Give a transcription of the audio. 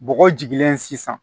Bɔgɔ jigilen sisan